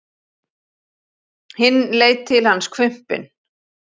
Hinn leit til hans hvumpinn.